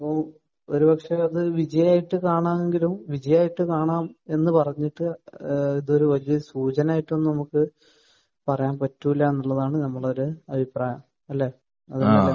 അപ്പോൾ ഒരു പക്ഷെ അത് വിജയമായിട്ട് കാണാമെങ്കിലും വിജയമായിട്ട് കാണാം എന്ന് പറഞ്ഞിട്ട് ഏഹ് ഇതൊരു വലിയ സൂചനയായിട്ട് തന്നെ നമുക്ക് പറയാൻ പറ്റില്ല എന്നുള്ളതാണ് നമ്മുടെയൊരു അഭിപ്രായം. അല്ലെ? അത് കൊണ്ടല്ലേ